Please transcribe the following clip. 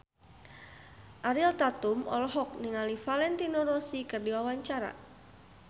Ariel Tatum olohok ningali Valentino Rossi keur diwawancara